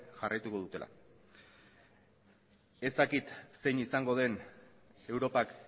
jarraituko dutela ez dakit zein izango den europak